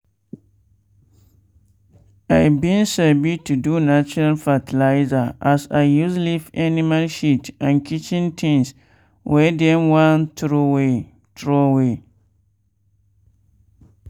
i bin sabi to do natural fertilizer as i use leaf animal shit and kitchen things wey dem wan throway. throway.